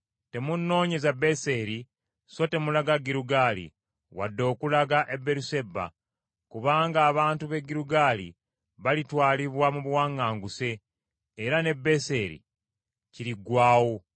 Temunnoonyeza Beseri so temulaga Girugaali wadde okulaga e Beeruseba. Kubanga abantu b’e Girugaali balitwalibwa mu buwaŋŋanguse era ne Beseri kiriggwaawo.”